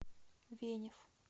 венев